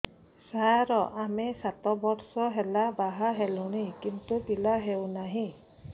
ସାର ଆମେ ସାତ ବର୍ଷ ହେଲା ବାହା ହେଲୁଣି କିନ୍ତୁ ପିଲା ହେଉନାହିଁ